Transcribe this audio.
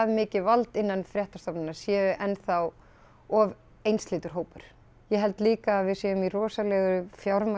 mikið vald innan fréttastofnunar sé enn þá of einsleitur hópur ég held líka að við séum í rosalegri